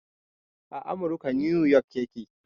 A amurka 'New York' ya ke